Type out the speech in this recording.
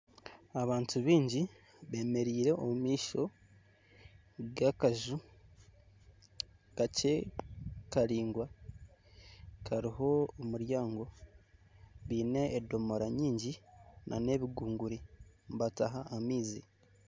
Abantu baingi bemereire omu maisho g'akaju kakye karaingwa kariho ekinyabwoya baine edomora nyingi nana ebigugunguri nibataha amaizi